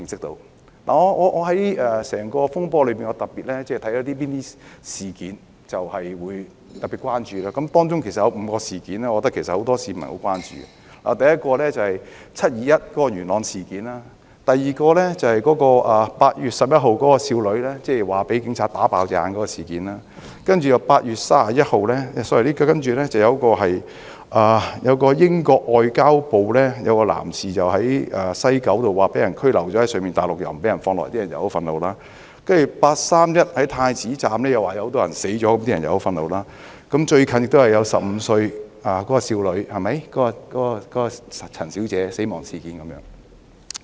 在整個風波中，我特別關注一些事件，而當中有5宗事件，是很多市民甚為關注的，第一宗是"七二一"元朗事件；第二宗是8月11日少女據稱被警員開槍"打爆眼"的事件；然後有一位在英國駐港領事館工作的男士據報在西九龍站被中方拘留後帶往內地，不獲釋放，令人感到憤慨；接着是據稱8月31日在太子站內有很多人死亡，引起公憤；最近亦有一宗15歲少女陳小姐的死亡事件。